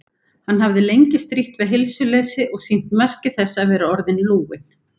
Hann hafði lengi strítt við heilsuleysi og sýnt merki þess að vera orðinn lúinn.